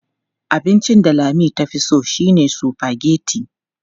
Abincin da Lami tafi so shine sufageti.